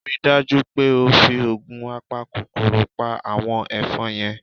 Rí i dájú pé o fi oògun apakòkòrò pa àwọn ẹ̀fọn yẹn!